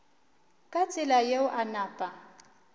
ka tsela yeo a napa